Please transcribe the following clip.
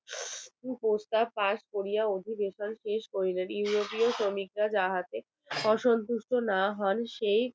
কুপ্রস্তাব পাস করিয়া অধিবেশন শেষ করিলেন europe শ্রমিকরা যাহাতে অসন্তুষ্ট না হন সেই